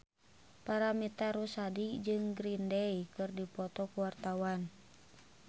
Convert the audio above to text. Paramitha Rusady jeung Green Day keur dipoto ku wartawan